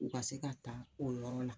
U ka se ka taa o yɔrɔ na